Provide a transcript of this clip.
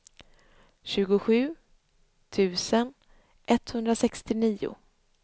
tjugosju tusen etthundrasextionio